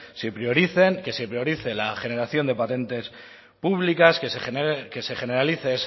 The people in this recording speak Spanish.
se prioricen que se priorice la generación de patentes públicas que se generalice